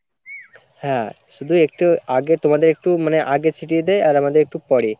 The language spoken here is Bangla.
হ্যাঁ শুধু একটু আগে তোমাদের একটু মানে আগে ছিটিয়ে দেয় আর আমাদের একটু পরে